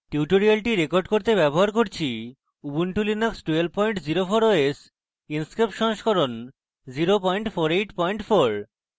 এই tutorial জন্য আমি ব্যবহার করছি